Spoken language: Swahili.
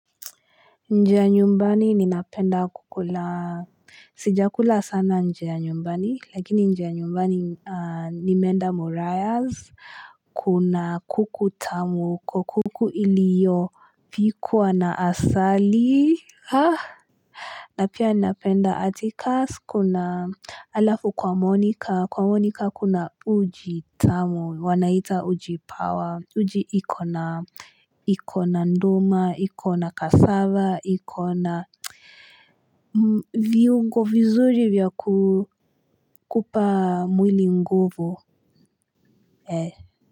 Inje ya nyumbani ninapenda kukula, sija kula sana inje ya nyumbani, lakini inje ya nyumbani nimeenda morayas. Kuna kuku tamu, kuku iliyo pikwa na asali, ha? Na pia napenda atikasi kuna alafu kwa monika kwa monika kuna uji tamu wanaita ujipawa uji ikona ikona nduma ikona kasava ikona viungo vizuri vya kupa mwili nguvu.